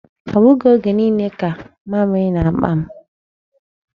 Ọ bụghị oge niile ka mamịrị na-akpa m.